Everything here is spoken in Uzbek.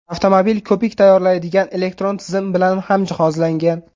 Avtomobil ko‘pik tayyorlaydigan elektron tizim bilan ham jihozlangan.